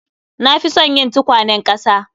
Na fi son yin tukwanen ƙasa